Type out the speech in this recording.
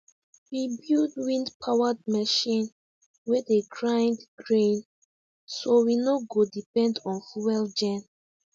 we build windpowered machine wey dey grind grain so we no go depend on fuel gen